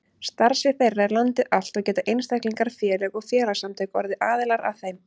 Starfsvið þeirra er landið allt og geta einstaklingar, félög og félagasamtök orðið aðilar að þeim.